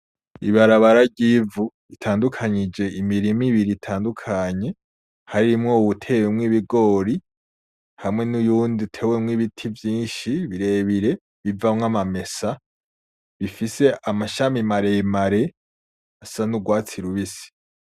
Ibarabara ry'ivu ritandukanyije imirima ibiri itandukanye harimwo uwutewemwo ibigori hamwe nuwundi utewemwo ibiti vyinshi birebre bivamwo amamesa bifise amashami maremare asa nurwatsi rubisi.